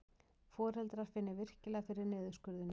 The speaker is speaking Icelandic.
Foreldrar finni virkilega fyrir niðurskurðinum